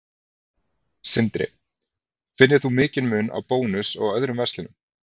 Sindri: Finnur þú mikinn mun á Bónus og öðrum verslunum?